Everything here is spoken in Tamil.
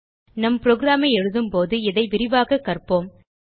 நம் புரோகிராம் ஐ எழுதும்போது இதை விரிவாக கற்போம்